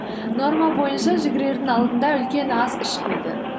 норма бойынша жүгірердің алдында үлкен ас ішпейді